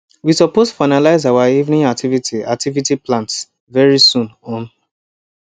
we suppose finalize our evening activity activity plans very soon um